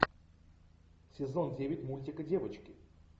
сезон девять мультика девочки